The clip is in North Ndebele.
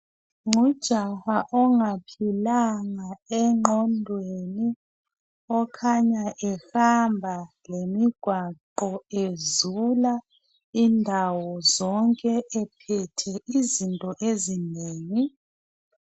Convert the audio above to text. Ngujaha ongaphilanga enqondweni okhanya ehamba lemigwaqo ezula indawo zonke ephethe izinto ezingi .